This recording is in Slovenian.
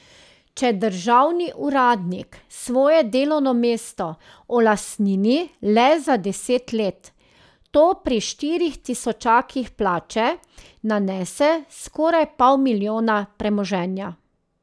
Če državni uradnik svoje delovno mesto olastnini le za deset let, to pri štirih tisočakih plače nanese skoraj pol milijona premoženja.